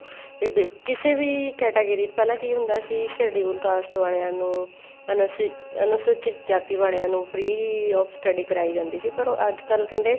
ਤੇ bill ਕਿਸੇ ਵੀ category ਚ ਪਹਿਲਾਂ ਕੀ ਹੁੰਦਾ ਸੀ schedule caste ਵਾਲੀਆਂ ਨੂੰ ਅਨੂਸੀ ਅਨੁਸੂਚੀਤ ਜਾਤੀ ਵਾਲੀਆਂ ਨੂੰ free of study ਕਰਾਈ ਜਾਂਦੀ ਸੀ ਪਰ ਉਹ ਅੱਜਕਲ ਕਹਿੰਦੇ